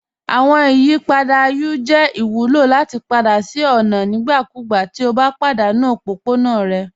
Awọn ìyìpadà U jẹ ìwùlọ lati padà sí ọ̀na nígbàkúgbà ti o bá padanu òpópọ̀na rẹ.